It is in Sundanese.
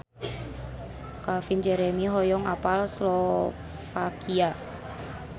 Calvin Jeremy hoyong apal Slovakia